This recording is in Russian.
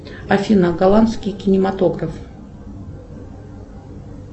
афина голландский кинематограф